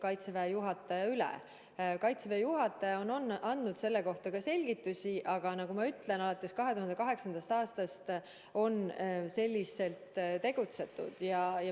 Kaitseväe juhataja on andnud selle kohta ka selgitusi, aga nagu ma ütlesin, on juba 2008. aastast nii tegutsetud.